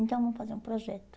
Então vamos fazer um projeto.